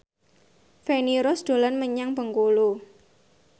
Feni Rose dolan menyang Bengkulu